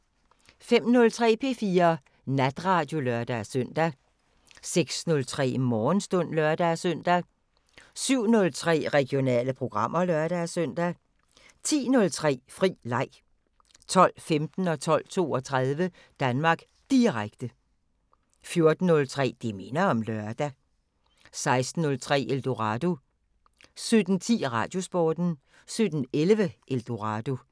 05:03: P4 Natradio (lør-søn) 06:03: Morgenstund (lør-søn) 07:03: Regionale programmer (lør-søn) 10:03: Fri leg 12:15: Danmark Direkte 12:32: Danmark Direkte 14:03: Det minder om lørdag 16:03: Eldorado 17:10: Radiosporten 17:11: Eldorado